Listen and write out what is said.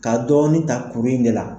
Ka dɔɔni ta kuru in de la.